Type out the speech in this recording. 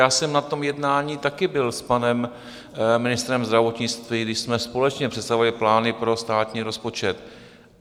Já jsem na tom jednání taky byl s panem ministrem zdravotnictví, kdy jsme společně představovali plány pro státní rozpočet.